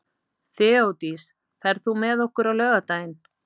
Þeódís, ferð þú með okkur á laugardaginn?